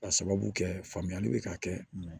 Ka sababu kɛ faamuyali bɛ ka kɛ